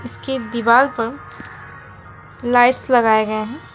उसके दीवार पर लाइट्स लगाए गए हैं।